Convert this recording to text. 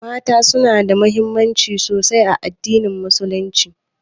Mata su na da daraja sosai a addinin musulunci